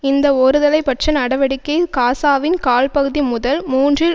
இந்த ஒருதலை பட்ச நடவடிக்கை காசாவின் கால் பகுதி முதல் மூன்றில்